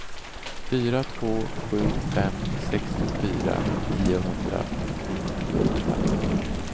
fyra två sju fem sextiofyra niohundranittioåtta